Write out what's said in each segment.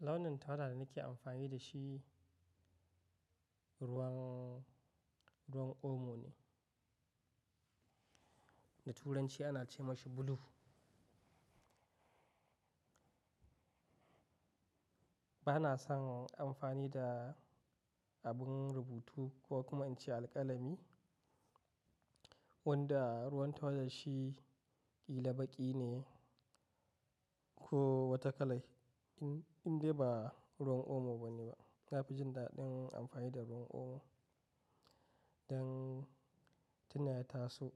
Launin tawada da nake amfani da shi ruwan, ruwan omo ne. Da Turanci ana ce mashi blue. Ba na son amfani da abun rubutu ko kuma in ce alƙalami wanda ruwan tawadar shi ƙila baƙi ne ko wata kalai in, indai ba ruwan omo ba ne ba. Na fi jin daɗin amfani da ruwan omo don tuna ya taso.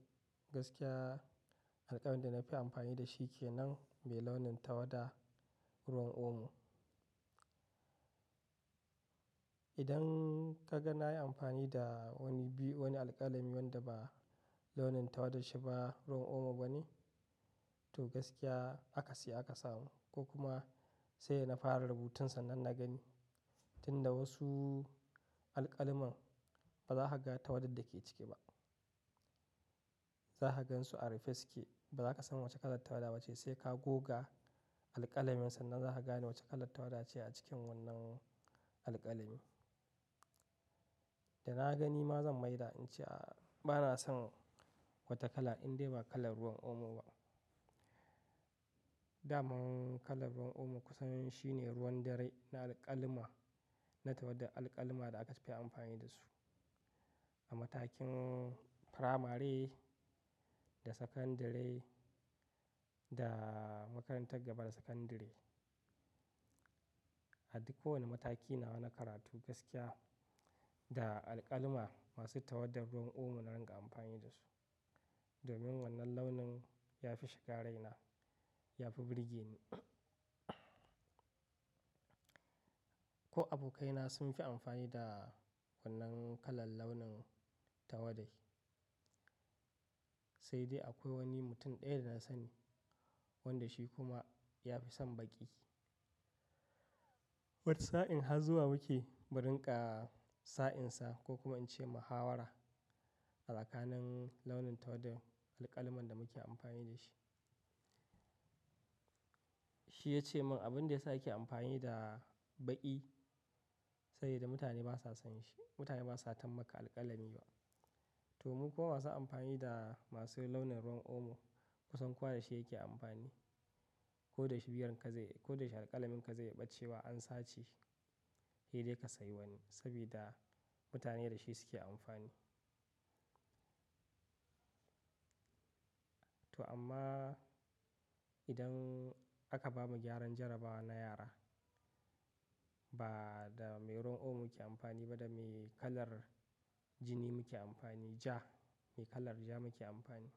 Gaskiya alƙalamin da na fi amfani da shi kenan mai launin tawada ruwan omo. Idan kaga nayi amfani da wani biy, wani alƙalami wanda ba launin tawadar shi ba ruwan omo ba ne, to gaskiya akasi aka samu ko kuma sai na fara rubutun sannan na gani. Tun da wasu alƙalamen ba za ka ga tawadar da ke ciki ba. Za ka gansu a rufe suke, ba za ka san wace kalar tawada ba ce sai ka goga alƙalamin sannan za ka gane wace kalar tawada ce a cikin wannan alƙalami. Da na gani ma zan maida in ce a bana son wata kala indai ba kalar ruwan omo ba. Daman kalar ruwan omo kusan shine ruwan dare na alƙalama, na tawadar alƙalma da aka fi amfani da su a matakin firamare da sakandare da makarantar gaba da sakandare. A duk kowane mataki nawa na karatu gaskiya da alƙalma masu tawadar ruwan omo na ringa amfani da su. Domin wannan launin ya fi shiga raina, ya fi burge ni. Ko abokaina sun fi amfani da wannan kalar launin tawade. Sai dai akwai wani mutum ɗaya da na sani wanda shi kuma ya fi son baƙi. Wata sa'in har zuwa muke, mu rinƙa sa'insa ko kuma in ce muhawara a tsakanin launin tawadar alƙalamin da muke amfani da shi. Shi ya ce min abin da ya sa yake amfani da baƙi sabida mutane ba sa son shi. Mutane ba sa tammaka alƙalamin. To mukuma masu amfani da masu launin ruwan omo kusan kowa da shi yake amfani. Ko da shi biyar ka zai-- ko da shi alƙalamin ka zai iya ɓace wa an sace, sai dai ka sayi wani sabida mutane da shi suke amfani. To amma idan aka bamu gyaran jarabawa na yara, ba da mai ruwan omo muke amfani ba da mai kalar jini muke amfani, ja, mai kalar ja muke amfani.